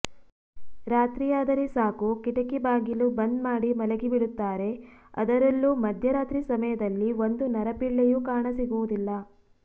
ರಾತ್ರಿಯಾದರೆ ಸಾಕು ಕಿಟಕಿ ಬಾಗಿಲು ಬಂದ್ ಮಾಡಿ ಮಲಗಿಬಿಡುತ್ತಾರೆ ಅದರಲ್ಲೂ ಮಧ್ಯರಾತ್ರಿ ಸಮಯದಲ್ಲಿ ಒಂದು ನರಪಿಳ್ಳೆಯೂ ಕಾಣಸಿಗುವುದಿಲ್ಲ